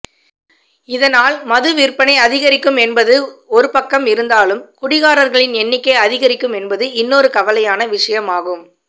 இதனால் மதுவிற்பனை அதிகரிக்கும் என்பது ஒருபக்கம் இருந்தாலும் குடிகாரர்களின் எண்ணிக்கை அதிகரிக்கும் என்பது இன்னொரு கவலையான விஷயம் ஆகும்